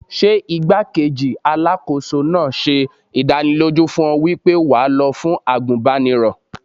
Ṣé igbá-kejì Alákóso náà ṣe ìdánilójú fún ọ wípé wà lọ fún àgùnbánirọ̀?